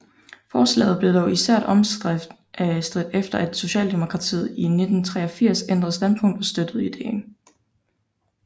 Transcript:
Forslaget blev dog især omstridt efter at Socialdemokratiet i 1983 ændrede standpunkt og støttede ideen